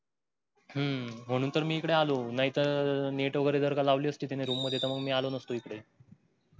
हम्म म्हणून तर मी हिकड आलो नाही तर net वगेरे लावली असती त्याने rrom मधे मी आलो नसतो हिकड